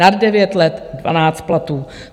Nad devět let dvanáct platů.